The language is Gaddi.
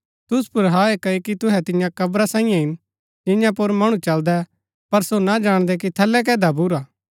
तुसु पुर हाय क्ओकि तुहै तियां कव्रा साईयें हिन जियां पुर मणु चलदै पर सो ना जाणदै कि थलै कै दभिऊरा